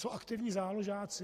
Co aktivní záložáci?